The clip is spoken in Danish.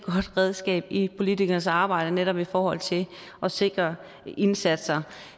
redskab i politikeres arbejde netop i forhold til at sikre indsatser